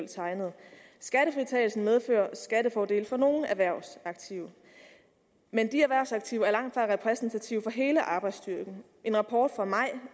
tegnede skattefritagelsen medfører skattefordele for nogle erhvervsaktive men de erhvervsaktive er langt fra repræsentative for hele arbejdsstyrken en rapport fra maj